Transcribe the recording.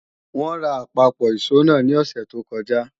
Wọ́n ra àpapọ̀ ìṣó náà ní òsẹ̀ tó kọjá